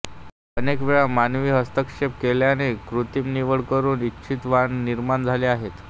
अनेक वेळा मानवी हस्तक्षेप केल्याने कृत्रिम निवड करून इच्छित वाण निर्माण झाले आहेत